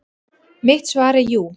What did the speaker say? Mitt svar er jú.